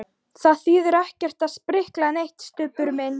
Það þýðir ekkert að sprikla neitt, Stubbur minn.